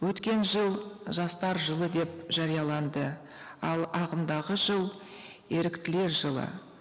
өткен жыл жастар жылы деп жарияланды ал ағымдағы жыл еріктілер жылы